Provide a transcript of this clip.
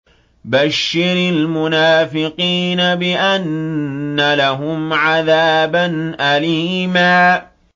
بَشِّرِ الْمُنَافِقِينَ بِأَنَّ لَهُمْ عَذَابًا أَلِيمًا